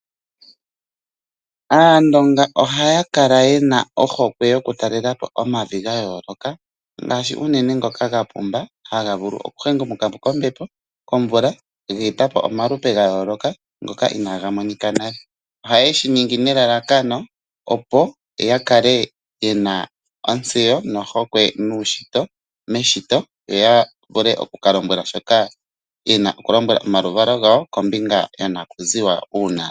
Aandonga ohaya kala yena ohokwe yokutaalelapo omavi gayooloka ngaashi unene ngoka gapumba haga vulu okuhengumukapo kombepo , komvula, geetapo omalupe gayooloka ngoka inaaga monika nale. Ohaye shi ningi nelalakano opo yakale yena ontseyo nohokwe meshito, yo yavule okukalombwela shoka yena okulombwels omaluvalo gawo kombinga yonakuziwa.